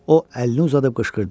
O əlini uzadıb qışqırdı.